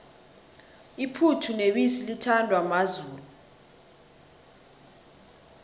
iphuthu nebisi lithandwa mazulu